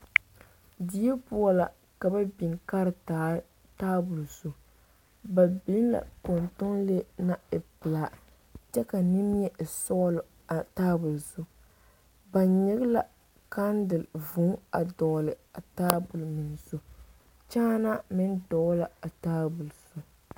Die poɔ la ka ba biŋ kartaare tabol zu ba biŋ la kɔntɔnlee ŋa naŋ e pelaa kyɛ ka nimie e sɔglɔ tabol zu ba nyige la kandele vūū a dɔgle a tabol zu kyaanaa meŋ dɔgle la a tabol zu.